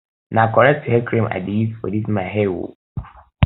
na correct hair cream i dey um use for dis um my hair o